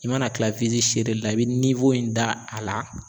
I mana kila wisi seere lila la i bi iniwo in da a la